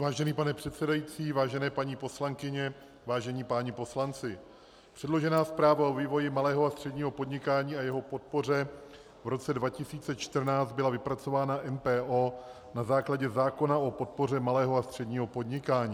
Vážený pane předsedající, vážené paní poslankyně, vážení páni poslanci, předložená zpráva o vývoji malého a středního podnikání a jeho podpoře v roce 2014 byla vypracována MPO na základě zákona o podpoře malého a středního podnikání.